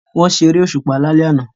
Wọ́n ṣe eré òṣùpá lálẹ́ àná